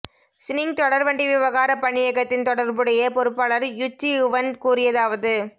Xining தொடர்வண்டி விவகார பணியகத்தின் தொடர்புடைய பொறுப்பாளர் யு ச்சியுவன் கூறியதாவது